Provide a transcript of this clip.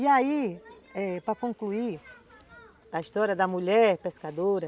E aí, é, para concluir a história da mulher pescadora,